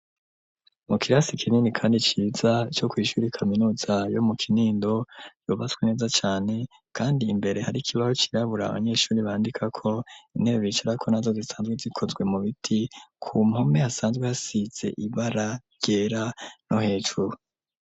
Mu kirasi kinini kandi ciza, co kw'ishuri kaminuza yo mu Kinindo, yubatswe neza cane kandi imbere hari ikibaho cirabura, abanyeshuri bandikako, intebe bicarako nazo zisanzwe zikozwe mu biti, ku mpome hasanzwe hasize ibara ryera no hejuru.